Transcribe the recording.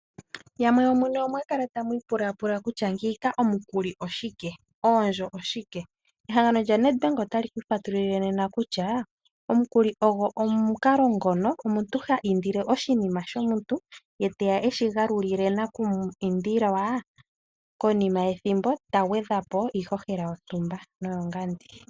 Yamwe yomune omwakala tamu ipula pula kutya ngiika omukuli oshike, oondjo oshike? Ehangano lyaNedbank otali kufatululile nena kutya, omukuli ogo omukalo ngono omuntu ha indile oshinima shomuntu e teya eshigalulile nakumu indilwa konima yethimbo tagwedha po iihohela yontumba noyongandi.